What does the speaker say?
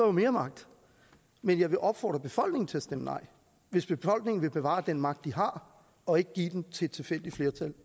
mere magt men jeg vil opfordre befolkningen til at stemme nej hvis befolkningen vil bevare den magt de har og ikke give den til et tilfældigt flertal